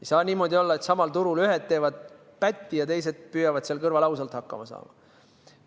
Ei saa niimoodi olla, et samal turul ühed teevad pätti ja teised püüavad seal kõrval ausalt hakkama saada.